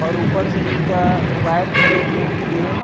और ऊपर से एक वायर भी गे हे ट्रैन के लिए--